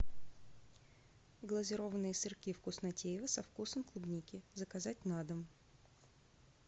глазированные сырки вкуснотеево со вкусом клубники заказать на дом